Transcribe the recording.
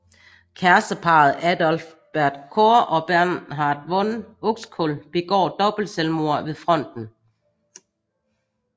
Kæresteparret Adalbert Cohr og Bernhard von Uxkull begår dobbeltselvmord ved fronten